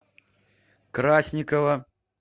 красникова